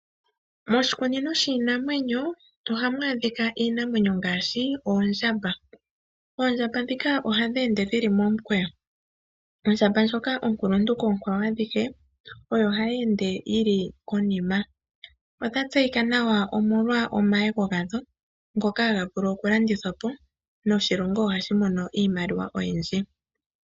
Moshikunino shiinamwenyo oha mu adhika iinamwenyo ngaashi oondjamba. Oondjamba dhika ohadhi ende dhili momukweyo. Ondjamba ndjoka onkuluntu koonkwawo adhihe oyo hayi ende yi li konima. Odha tseyika nawa molwa omayego gadho ngoka haga vulu okulandithwa po, noshilongo ohashi mono iimaliwa oyindji.